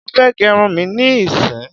Mofe gerun mí ní sìn!